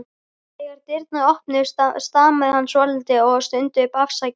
Þegar dyrnar opnuðust stamaði hann svolítið og stundi upp: Afsakið